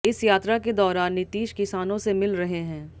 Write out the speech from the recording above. इस यात्रा के दौरान नीतीश किसानों से मिल रहे हैं